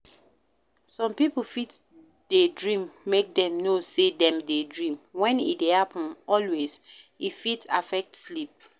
some pipo fit dey dream make dem know sey dem dey dream, when e dey happen always e fit affect sleep